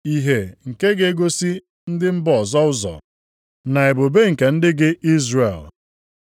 Ìhè nke ga-egosi ndị mba ọzọ ụzọ, na ebube nke ndị gị Izrel.”